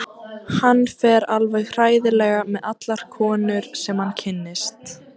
Hann fer alveg hræðilega með allar konur sem hann kynnist.